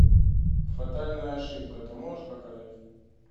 фатальная ошибка ты можешь показать